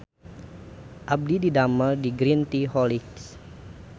Abdi didamel di Green Tea Holics